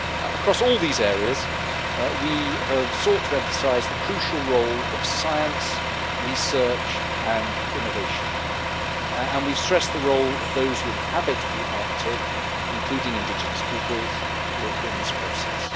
Across all these areas we have sought to emphasise the crucial role of science, research and innovation, and we have stressed the role of those who inhabit the Arctic, including indigenous peoples, in this process.